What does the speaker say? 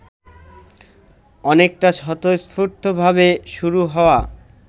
অনেকটা স্বতস্ফূর্তভাবে শুরু হওয়া